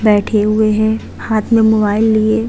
बैठे हुए हैं हाथ में मोबाइल लिये।